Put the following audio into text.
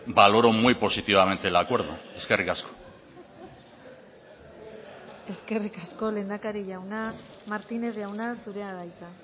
valoro muy positivamente el acuerdo eskerrik asko eskerrik asko lehendakari jauna martínez jauna zurea da hitza